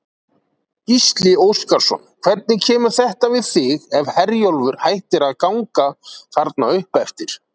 Gísli Óskarsson: Hvernig kemur þetta við þig ef Herjólfur hættir að ganga þarna uppeftir?